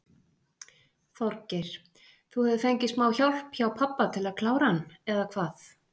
Þorgeir: Þú hefur fengið smá hjálp hjá pabba til að klára hann eða hvað?